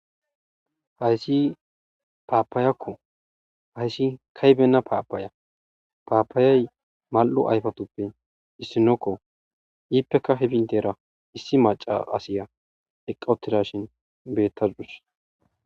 Haysi paapayakko hayssi kaybenna paapaaya paapaayay mal'u ayfatuppe issinokko iippeka hibintera issi maca asiya eqqawutida shin bettadudus